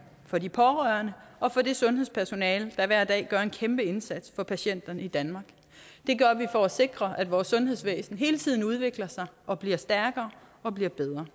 for de pårørende og for det sundhedspersonale der hver dag gør en kæmpe indsats for patienterne i danmark det gør vi for at sikre at vores sundhedsvæsen hele tiden udvikler sig og bliver stærkere og bliver bedre